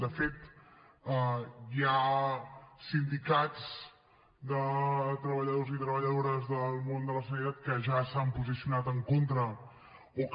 de fet hi ha sindicats de treballadors i treballadores del món de la sanitat que ja s’han posicionat en contra o que